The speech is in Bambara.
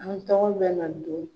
Anw tɔgɔw bɛ na don